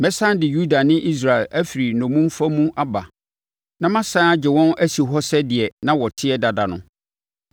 Mɛsane de Yuda ne Israel afiri nnommumfa mu aba na masane agye wɔn asi hɔ sɛ dea na wɔte dada no.